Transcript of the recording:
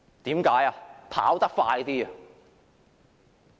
因為要跑得快一點。